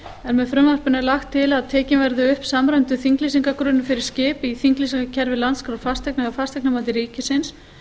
en með frumvarpinu er lagt til að tekinn verði upp samræmdur þinglýsingargagnagrunnur fyrir skip í þinglýsingarkerfi landskrár fasteigna hjá fasteignamati ríkisins